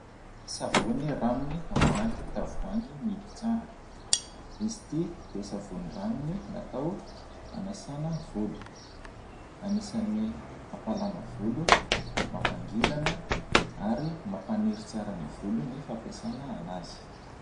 Savony ranony ao anaty tavoahangy mihidy tsara, izy ity dia savony ranony natao hanasana volo, anisany mampalama volo, mampangirana ary mampaniry tsara ny volo ny fampiasana anazy.